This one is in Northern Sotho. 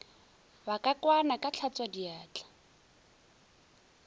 ba ka kwana ka hlatswadiatla